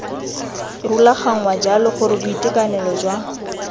rulaganngwa jalo gore boitekanelo jwa